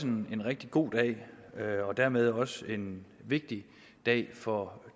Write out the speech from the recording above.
en rigtig god dag og dermed også en vigtig dag for